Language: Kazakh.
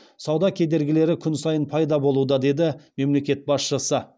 сауда кедергілері күн сайын пайда болуда деді мемлекет басшысы